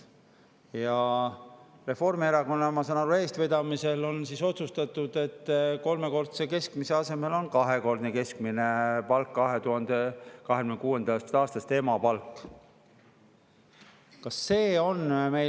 Ma saan aru, et Reformierakonna eestvedamisel on otsustatud, et 2026. aastast on emapalga kolmekordse keskmise asemel kahekordne keskmine palk.